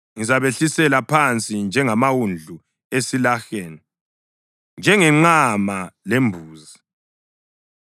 “Ngizabehlisela phansi njengamawundlu esilaheni, njengenqama lembuzi.